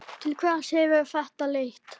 Til hvers hefur þetta leitt?